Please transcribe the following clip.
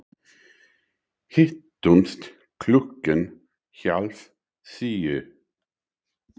Hittumst klukkan hálf sjö.